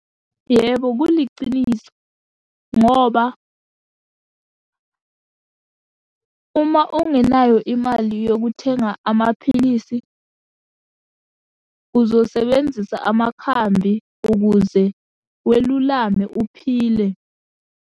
Yebo, kuliciniso, ngoba uma ungenayo imali yokuthenga amaphilisi, uzosebenzisa amakhambi ukuze welulame uphile.